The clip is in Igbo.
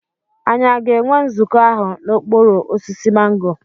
Ànyị a ga-enwe nzukọ ahụ n'okpuru osisi mango?